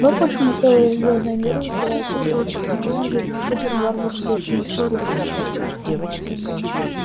вот почему целые звёздные миры теряют секрет атомной энергии и переходят на варварскую химическую